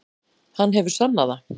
Hann hefur sannað það.